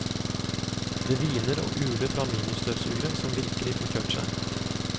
Det hviner og uler fra ministøvsugere som virkelig får kjørt seg.